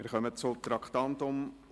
Wir kommen zum Traktandum 106.